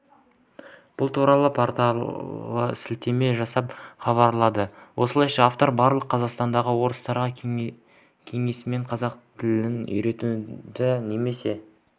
бұл туралы порталы сілетеме жасап хабарлады осылайша автор барық қазақстандық орыстарға кеңесім қазақ тілін үйреніңдер немесе